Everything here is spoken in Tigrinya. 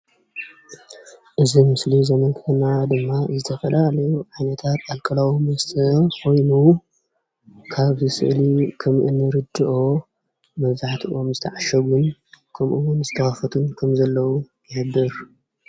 እዚ ምስሊ ዘምልክተና ድማ ዝተፈላለዩ ዓይነታት ኣልኮላዊ መስተ ኮየኑ ካብዚ ስእሊ ከም እንርደኦ መብዛሕቲኡ ዝተዓሸጉ ከምኡ እውን ዝተከፈቱ ከም ዘለው ይሕብር፡፡